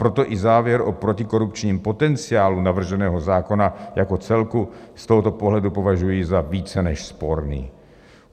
Proto i závěr o protikorupčním potenciálu navrženého zákona jako celku z tohoto pohledu považuji za více než sporný.